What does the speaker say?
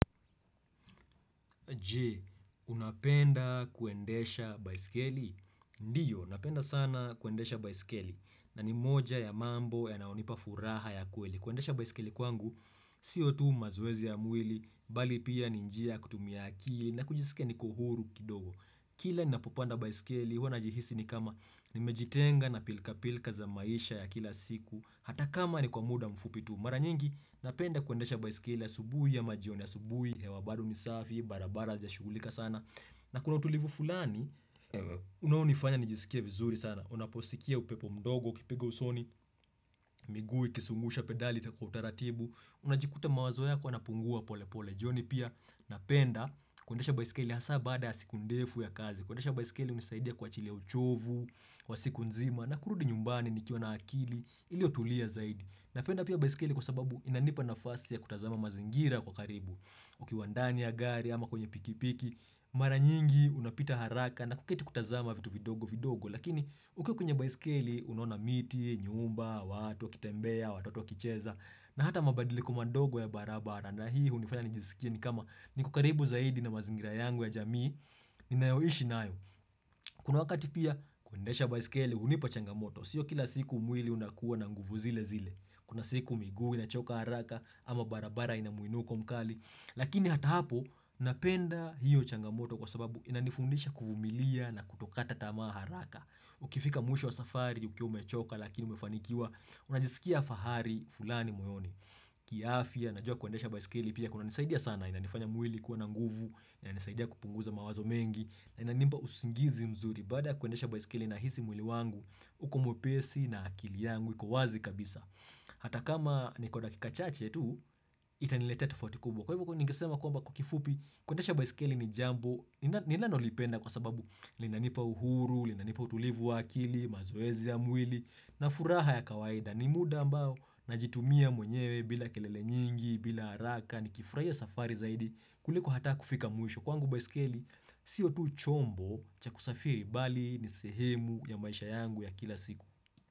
Je? Unapenda kuendesha baiskeli? Ndio, napenda sana kuendesha baiskeli na ni moja ya mambo yanayonipa furaha ya kweli. Kuendesha baiskeli kwangu, sio tu mazoezi ya mwili, bali pia ni njia ya kutumia akili na kujisikia niko huru kidogo. Kila ninapopanda baiskeli, huwa najihisi ni kama nimejitenga na pilka pilka za maisha ya kila siku Hata kama ni kwa muda mfupi tu. Mara nyingi, napenda kuendesha baiskeli asubuhi ama jioni asubuhi hewa bado ni safi, barabara hazijashugulika sana na kuna utulivu fulani, unaonifanya nijisikie vizuri sana. Unaposikia upepo mdogo, ukipiga usoni, miguu, ikisungusha pedali, kwa utaratibu unajikuta mawazo yako yanapungua pole pole jioni pia napenda kuendesha baiskeli hasa baada ya siku ndefu ya kazi. Kuendesha baiskeli hunisaidia kuachilia uchovu wa siku nzima na kurudi nyumbani nikiwa na akili iliotulia zaidi. Napenda pia baiskeli kwa sababu inanipa nafasi ya kutazama mazingira kwa karibu. Ukiwa ndani ya gari ama kwenye pikipiki, mara nyingi unapita haraka na kuketi kutazama vitu vidogo vidogo. Lakini ukiwa kwenye baisikeli unaona miti, nyumba, watu wakitembea, watoto wakicheza na hata mabadiliko madogo ya barabara. Na hii hunifanya nijisikie ni kama niko karibu zaidi na mazingira yangu ya jamii ninayoishi nayo Kuna wakati pia kuendesha baiskeli hunipa changamoto. Sio kila siku mwili unakuwa na nguvu zile zile. Kuna siku miguu inachoka haraka ama barabara inamuinuko mkali Lakini hata hapo napenda hiyo changamoto kwa sababu inanifundisha kuvumilia na kutokata tamaa haraka Ukifika mwisho wa safari ukiwa umechoka lakini umefanikiwa unajisikia fahari fulani moyoni kiafia, najua kuendesha baiskeli pia kuna nisaidia sana. Inanifanya mwili kuwa na nguvu. Inanisaidia kupunguza mawazo mengi. Na inanipa usingizi mzuri Baada kuendesha baiskeli nahisi mwili wangu uko mwepesi na akili yangu iko wazi kabisa Hata kama nikwa dakika chache tu Itanileteta tofauti kubwa. Kwa hivyo ningesema kwamba kwa kifupi kuendesha baiskeli ni jambo Ninanolipenda kwa sababu linanipa uhuru, linanipa utulivu wa akili mazoezi ya mwili na furaha ya kawaida ni muda ambao najitumia mwenyewe bila kelele nyingi, bila haraka, nikifurahia safari zaidi, kuliko hata kufika mwisho kwangu baiskeli, sio tu chombo cha kusafiri bali ni sehemu ya maisha yangu ya kila siku.